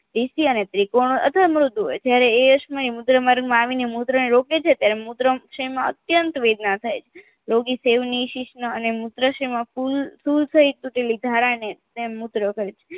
એસી અને ત્રિકોણ હોય અથવા મ્રૂદ હોય જ્યારે એ અક્ષમરી મૂત્ર માર્ગમાં આવિને મૂત્રને રોકે છે ત્યારે મૂત્રાસય માં અત્યંત વેદના થાય છે રોગી નો મૂત્રાસયમાં કુલ full થઈ ચૂકેલી ધારાને તેમ મૂત્ર કરે છે